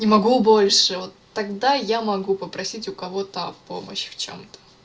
не могу больше вот тогда я могу попросить у кого-то помощь в чём-то